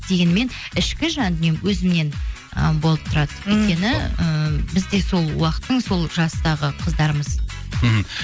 дегенімен ішкі жандүнием өзімнен ы болып тұрады өйткені ыыы біз де сол уақыттың сол жастағы қыздарымыз мхм